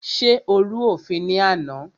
Ṣé o rú òfin ní àná?